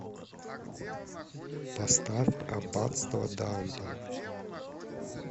поставь аббатство даунтон